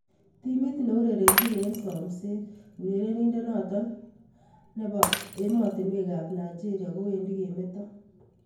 Fenerbahce, timit neurerenjin eng somset urerenindet noto ab ematunwek ab Nigeria kowendi kemeto.